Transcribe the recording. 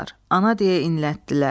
Ana deyə inlətdilər.